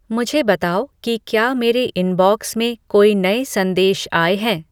मुझे बताओ कि क्या मेरे इनबॉक्स में कोई नए संदेश आए हैं